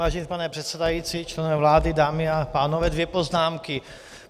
Vážený pane předsedající, členové vlády, dámy a pánové, dvě poznámky.